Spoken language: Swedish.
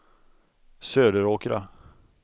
Söderåkra